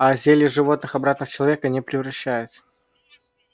а зелье животных обратно в человека не превращает